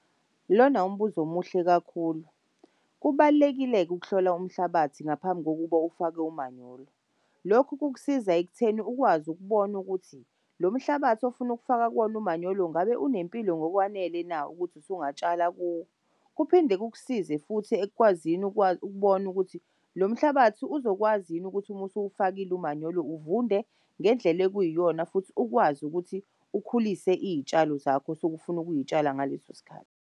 Lona umbuzo omuhle kakhulu kubalulekile-ke ukuhlola umhlabathi ngaphambi kokuba ufake umanyolo. Lokhu kukusiza ekutheni ukwazi ukubona ukuthi lo mhlabathi ofunufaka kuwona umanyolo ngabe unempilo ngokwanele na ukuthi usungatshala kuwo. Kuphinde kusize futhi ekukwazini ukubona ukuthi lomhlabathi uzokwazi yini ukuthi umusuwufakile umanyolo uvunde ngendlela ekuyiyona futhi ukwazi ukuthi ukhulise iy'tshalo zakho osukufuna ukuyitshala ngaleso sikhathi.